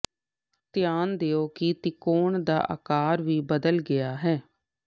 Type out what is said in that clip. ਧਿਆਨ ਦਿਓ ਕਿ ਤਿਕੋਣ ਦਾ ਆਕਾਰ ਵੀ ਬਦਲ ਗਿਆ ਹੈ